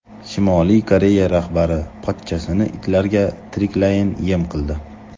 Shimoliy Koreya rahbari pochchasini itlarga tiriklayin yem qildi.